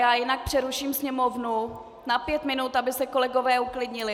Já jinak přeruším sněmovnu na pět minut, aby se kolegové uklidnili.